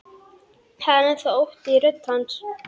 Það er enn þá ótti í rödd hans.